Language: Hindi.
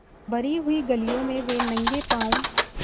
भरी हुई गलियों में वे नंगे पॉँव स्